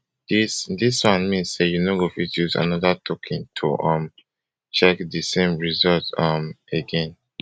dis dis one mean say you no go fit use anoda token to um check di same result um again